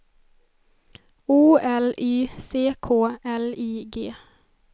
O L Y C K L I G